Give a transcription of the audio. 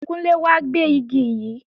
Kúnlé wá gbé Igi yí!